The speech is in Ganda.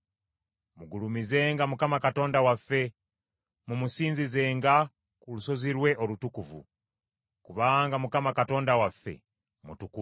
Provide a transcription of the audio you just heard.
Mugulumizenga Mukama Katonda waffe, mumusinzizenga ku lusozi lwe olutukuvu, kubanga Mukama Katonda waffe mutukuvu.